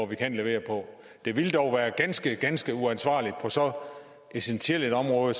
vi kan levere på det ville dog være ganske ganske uansvarligt på så essentielt et område